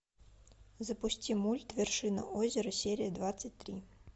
запусти мульт вершина озера серия двадцать три